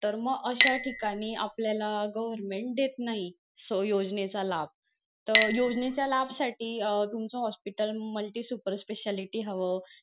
तर मग अश्या ठिकाणी आपल्याला government देत नाही योजनेचा लाभ तर योजनेच्या लाभ साठी अं तुमचं hospital multi supar speciality हवं.